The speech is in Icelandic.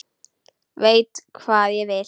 Veit hvað ég vil.